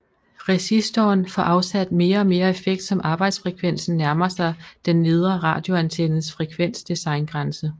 Resistoren får afsat mere og mere effekt som arbejdsfrekvensen nærmer sig den nedre radioantennes frekvensdesigngrænse